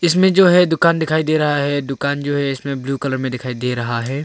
में जो है दुकान दिखाई दे रहा है दुकान जो है इसमें ब्लू कलर मे दिखाई दे रहा है।